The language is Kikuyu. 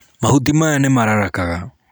Mahuti maya nímararakagaa.